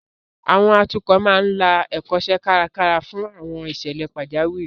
Àwọn atukọ̀ máa ń la Ẹ̀kọ́ṣẹ́ kárakára fún àwọn ìṣẹ̀lẹ̀ pajawiri